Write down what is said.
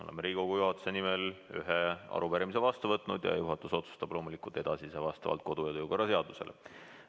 Olen Riigikogu juhatuse nimel vastu võtnud ühe arupärimise ja juhatus otsustab loomulikult edasise vastavalt kodu- ja töökorra seadusele.